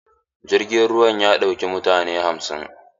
Jirgin ruwan ya ɗauki mutane hamsin.